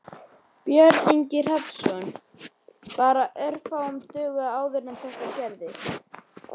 Björn Ingi Hrafnsson: Bara örfáum dögum áður en þetta gerðist?